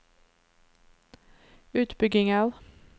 utbygginger